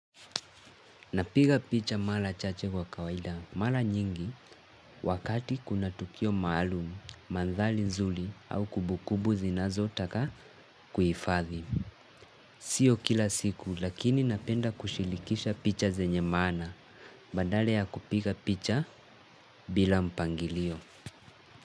Napiga picha mara chache kwa kawaida. Mara nyingi, wakati kuna tukio maalum, mandhari nzuri au kumbu kumbu zinazotaka kuhifadhi. Sio kila siku, lakini napenda kushirikisha picha zenye maana. Badala ya kupiga picha bila mpangilio.